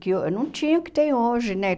Que uh não tinha o que tem hoje, né?